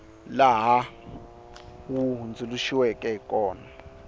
laha wu hundzuluxiweke hi kona